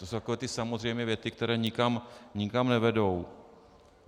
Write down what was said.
To jsou takové ty samozřejmé věty, které nikam nevedou.